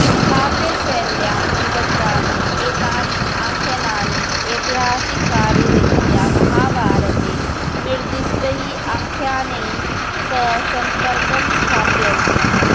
काव्यशैल्यां निबद्धानि एतानि आख्यानानि ऐतिहासिकरीत्या महाभारते निर्दिष्टैः आख्यानैः सह सम्पर्कं स्थापयन्ति